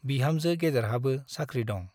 बिहामजो गेदेरहाबो साख्रि दं ।